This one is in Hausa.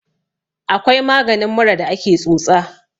akwai maganin mura da ake tsotsa